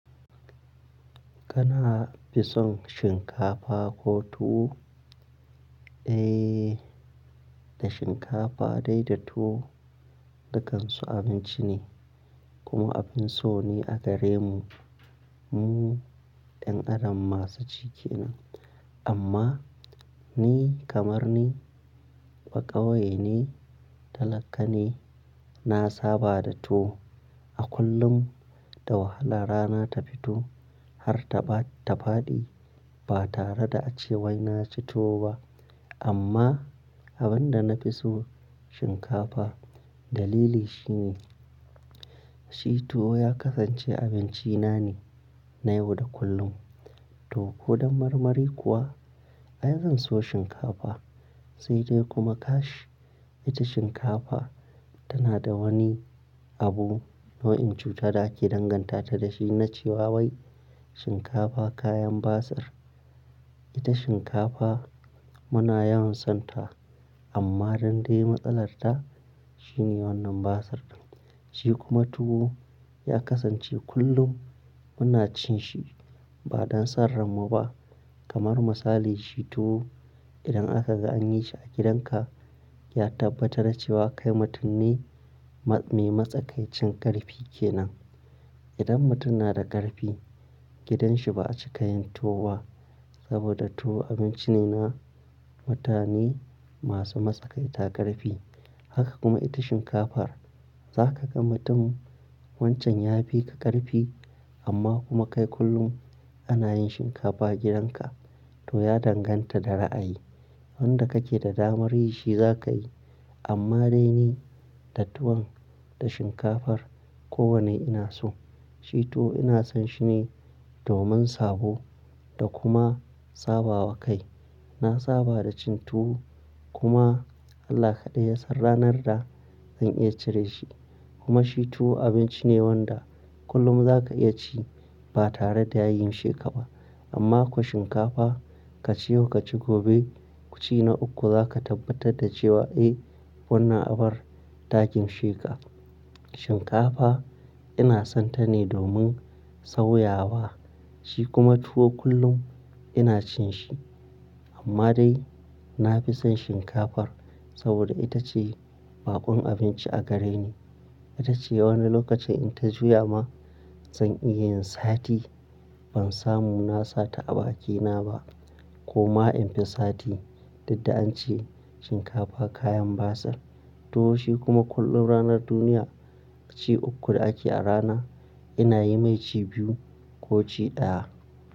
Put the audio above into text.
Kana fisan shinkafa ko tuwo? Eh, da shinkafa dai da tuwo dakansu abinci ne kuma abin so ne a gare mu. Mu ɗan adam masu ci kenan. Amma ni kamar ni ba ƙauyene ne talaka ne, na saba da tuwo. A kullum da wahala rana ta fito har ta faɗi ba tare da a cewai na ci tuwo ba. Amma abin da na fi so shinkafa dalili shi ne, shi tuwo ya kasance abinci na ne na yau da kullum. To ko dan marmari kuwa ai zan so shinkafa sai dai kuma kash ita shinkafa tana da wani abu, nau'in cuta da ake danganta ta da shi na cewa wai shinkafa kayan basir. Ita shinkafa muna yawan son ta amma dan dai matsalar ta shine wannan basar ɗin. Shi kuma tuwo ya kasance kullum muna cin shi ba don sarranmu ba. Kamar misali shi tuwo idan aka ga an yi shi a gidan ka ya tabbata na cewa kai mutum ne mai matsakaicin ƙarfi ke nan. Idan mutum na da ƙarfi gidan shi ba a cika yin tuwoba saboda tuwo abinci ne na mutane masu matsakaita ƙarfi. Haka kuma ita shinkafa za ka ga mutum wancan ya fi ka ƙarfi amma kuma kai kullum ana yin shinkafa a gidan ka to ya danganta da ra'ayi. Wanda kake da damar yi shi zaka yi. Amma dai ni da tuwan da shinkafar kowane ina so. Shi tuwo ina son shi ne domin sabo da kuma saba wa kai. Na saba da cin tuwo kuma Allah kaɗai ya san ranar da zan iya cire shi. Kuma shi tuwo abinci ne wanda kullum za ka iya ci ba tare da ya gin sheka ba. Amma ko shinkafa ka ci yau ka ci gobe kucina uku za ka tabbatar da cewa eh wannan abar takin sheƙa. Shinkafa ina son ta ne domin sauyawa. Shi kuma tuwo kullum ina cin shi. Amma dai na fi son shinkafar saboda ita ce baƙon abinci a gare ni. Ita ce wani lokacin in ta juya ma zan iya yin sati ban samu na sata a bakina ba. Kuma in fi sati, duk da an ce shinkafa kayan basar. Tuwo shi kuma kullum ranar duniya ci uku da ake a rana ina yi mai ci biyu ko ci ɗaya.